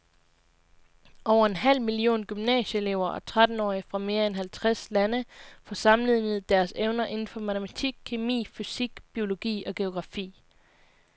Over en halv million gymnasieelever og trettenårige fra mere end halvtreds lande får sammenlignet deres evner inden for matematik, kemi, fysik, biologi og geografi.